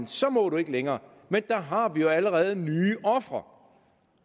så må du ikke længere men der har vi jo allerede nye ofre